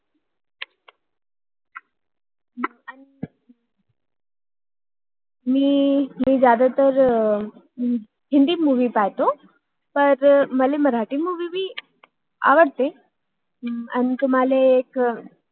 मी जास्त हिंदी मुवि बघते आह पण मला मराठी मुवि movie हम्म पण आवडते आणि तुमाला एक